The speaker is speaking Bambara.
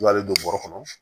I b'ale don bɔrɛ kɔnɔ